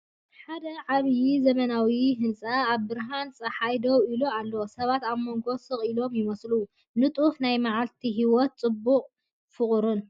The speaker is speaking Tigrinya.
ሓደ ዓብይ ዘመናዊ ህንጻ ኣብ ብርሃን ጸሓይ ደው ኢሉ ኣሎ። ሰባት ኣብ መንጎኡ ስቕ ኢሎም ይመላለሱ፣ ንጡፍ ናይ መዓልቲ ህይወት ጽቡቕን ፍቑርን!